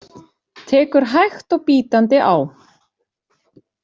Tekur hægt og bítandi á.